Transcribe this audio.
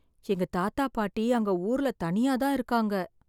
எங்க தாத்தா பாட்டி அங்க ஊர்ல தனியா தான் இருக்காங்க.